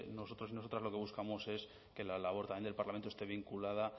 nosotros y nosotras lo que buscamos es que la labor también del parlamento esté vinculada